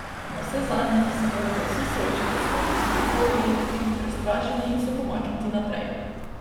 Navsezadnje pa se morate vsi soočiti s svojimi strahovi, biti prestrašeni in se pomakniti naprej.